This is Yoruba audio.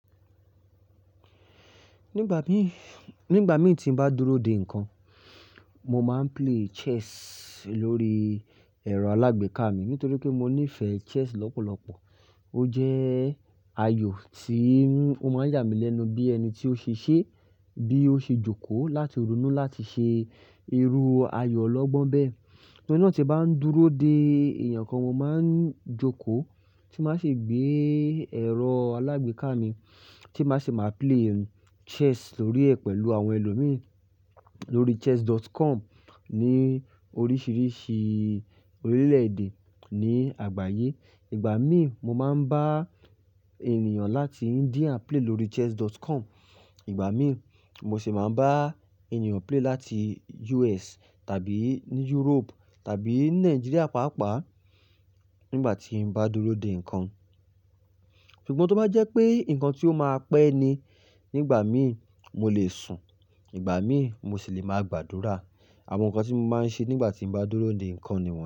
Nígbà mí, nígbà mí tí n bá dúró de ǹkan, mo máa ń play chess lórí ẹ̀rọ alágbèéká mi nítorí pé mo nífẹ̀ẹ́ chess lọ́pọ̀lọpọ̀. Ó jẹ́ ayò tí ó máa ń yà mí lẹ́nu bí ẹni tí ó ṣiṣẹ́, bí ó ṣe jókòó láti ronú láti ṣe irú ayò ọlọ́gbọ́n bẹ́ẹ̀. Tori náà tí bá ń dúró dé èèyàn kan, mo máa ń jókòó tí má ṣe gbé ẹ̀rọ alágbèéká mi tí má ṣe máa play chess lórí ẹ̀ pẹ̀lú àwọn ẹlòmíràn lórí chess.com ní oríṣìíríṣìí orílẹ̀-èdè ní àgbáyé. Ìgbà mí, mo máa ń bá ènìyàn láti India play lórí chess.com. Ìgbà mí, mo sì máa ń bá ènìyàn play láti US tàbí ní Europe tàbí ní Nigeria pàápàá nígbà tí n bá dúró de ǹkan. Ṣùgbọ́n tó bá jẹ́ pé ǹkan tí ó máa pẹ́ ni, nígbà mí mo lè sùn, ìgbà mí mo sì lè máa gbàdúrà. Àwọn ǹkan tí mo máa ń ṣe nígbà tí n bá dúró de ǹkan ni.